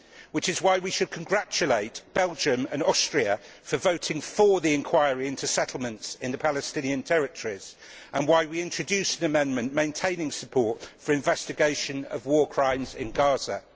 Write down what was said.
This is why we should congratulate Belgium and Austria for voting for the inquiry into settlements in the Palestinian territories, and why we introduced an amendment maintaining support for the investigation of war crimes in Gaza.